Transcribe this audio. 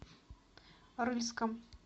рыльском